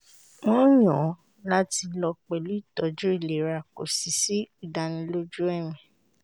wọ́n yàn láti lọ pẹ̀lú îtọ̌jǔ îlera kò sì sí ìdánilójú ẹ̀mí